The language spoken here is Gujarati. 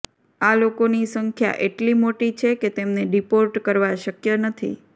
આ લોકોની સંખ્યા એટલી મોટી છે કે તેમને ડીપોર્ટ કરવા શક્ય નથી